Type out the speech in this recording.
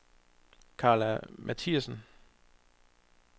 Karla Matthiesen